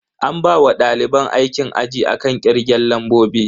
An bawa daliban aikin aji akan kirgen lambobi.